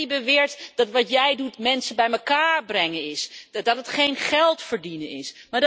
Jij die beweert dat wat jij doet mensen bij elkaar brengen is, dat het geen geld verdienen is.